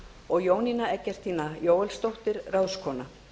og jónína eggertína jóelsdóttir ráðskona